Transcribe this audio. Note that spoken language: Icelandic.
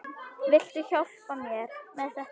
Viltu hjálpa mér með þetta?